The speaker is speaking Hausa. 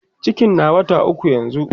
cikin na wata ukwu yanzun